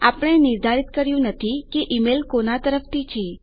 આપણે નિર્ધારિત કર્યું નથી કે ઈમેલ કોના તરફથી છે